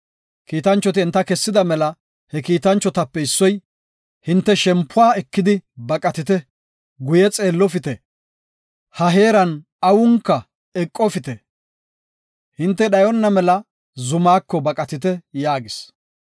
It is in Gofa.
Kiitanchoti enta kessida mela he kiitanchotape issoy, “Hinte shempuwa ekidi baqatite! Guye xeellofite! Ha heeran awunka eqofite! Hinte dhayona mela zamaako baqatite” yaagis.